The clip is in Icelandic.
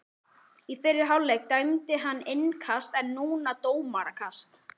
Í fyrri hálfleik dæmdi hann innkast en núna dómarakast.